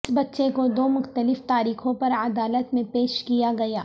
اس بچے کو دو مختلف تاریخوں پر عدالت میں پیش کیا گیا